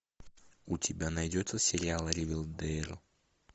у тебя найдется сериал ривердейл